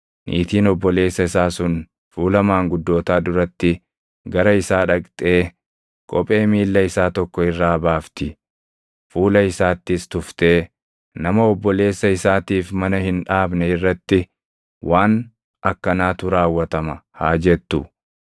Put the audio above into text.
niitiin obboleessa isaa sun fuula maanguddootaa duratti gara isaa dhaqxee kophee miilla isaa tokko irraa baafti; fuula isaattis tuftee, “Nama obboleessa isaatiif mana hin dhaabne irratti waan akkanaatu raawwatama” haa jettu.